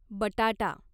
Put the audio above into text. बटाटा